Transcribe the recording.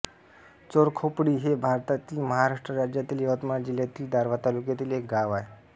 चोरखोपडी हे भारतातील महाराष्ट्र राज्यातील यवतमाळ जिल्ह्यातील दारव्हा तालुक्यातील एक गाव आहे